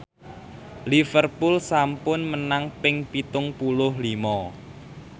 Liverpool sampun menang ping pitung puluh lima